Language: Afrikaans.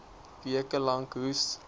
weke lank hoes